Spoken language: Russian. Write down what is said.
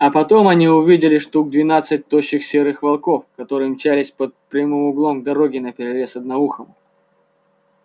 а потом они увидели штук двенадцать тощих серых волков которые мчались под прямым углом к дороге наперерез одноухому